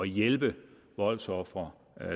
hjælpe voldsofre